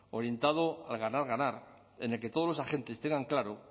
orientado a ganar ganar en el que todos los agentes tengan claro